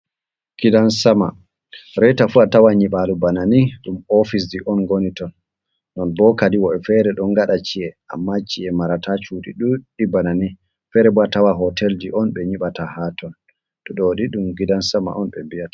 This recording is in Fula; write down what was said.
Gidan sama, reta fu a tawan nyiɓalo bana ni ɗum ofisji on ngoni ton. Non bo kadi woɓɓe fere ɗon ngaɗa ci'e, amma ci'e marata cuuɗi ɗuɗɗi bana ni. Fere bo a tawa hotelji on ɓe nyiɓata ha ton. Ɗo ni ɗum gidan sama on ɓe mbiyata.